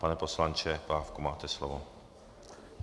Pane poslanče Pávku, máte slovo.